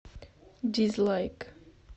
дизлайк